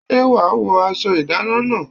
Ṣé wàá wọ aṣọ ìdáná náà?